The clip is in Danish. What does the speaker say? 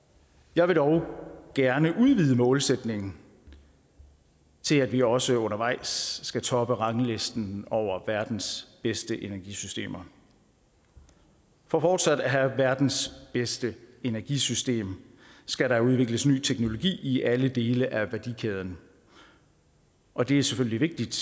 jeg vil dog gerne udvide målsætningen til at vi også undervejs skal toppe ranglisten over verdens bedste energisystemer for fortsat at have verdens bedste energisystem skal der udvikles ny teknologi i alle dele af værdikæden og det er selvfølgelig vigtigt